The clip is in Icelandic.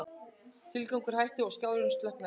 Titringurinn hætti og skjárinn slokknaði.